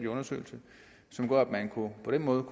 undersøgelse som gør at man på på den måde